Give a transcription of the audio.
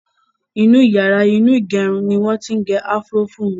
Inú yàrá inú ìgẹrun ni wọn ti ń gẹ afro fún mi.